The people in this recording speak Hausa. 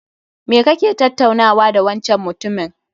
Me kake tattaunawa da wancan mutumin?